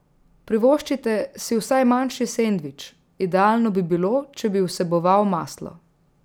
Privoščite si vsaj manjši sendvič, idealno bi bilo, če bi vseboval maslo.